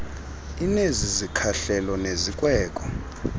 inezi zikhahlelo nezikweko